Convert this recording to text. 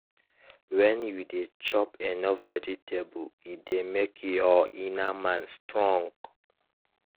when you dey chop enough vegetable e dey make your inner man strong.